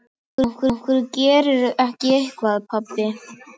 Af hverju gerirðu ekki eitthvað, pabbi?